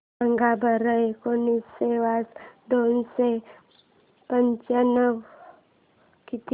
सांगा बरं एकोणीसशे वजा दोनशे पंचावन्न किती